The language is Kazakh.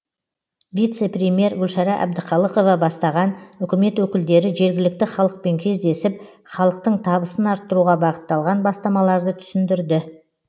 вице премьер гүлшара әбдіқалықова бастаған үкімет өкілдері жергілікті халықпен кездесіп халықтың табысын арттыруға бағытталған бастамаларды түсіндірді